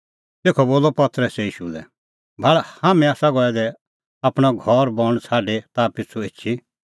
तेखअ बोलअ पतरसै ईशू लै भाल़ हाम्हैं आसा गऐ दै आपणअ घर बण छ़ाडी ताह पिछ़ू एछी